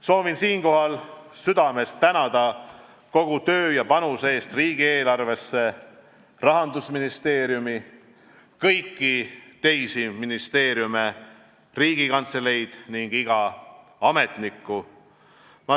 Soovin siinkohal südamest tänada kogu töö ja panuse eest riigieelarvesse Rahandusministeeriumi, kõiki teisi ministeeriume, Riigikantseleid ning iga ametnikku.